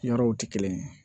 Yɔrɔw tɛ kelen ye